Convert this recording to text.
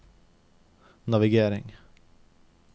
navigering